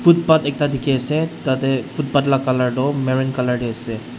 footpath ekta dikhiase tatae footpath la colour tohmarun colour tae ase.